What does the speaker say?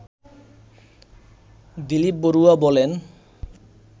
দিলীপ বড়ুয়া বলেন